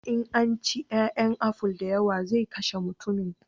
In an ci 'ya'yan aful da yawa zai kashe mutummin